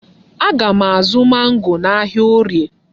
Aga m azụ mangoo n'ahịa Orie.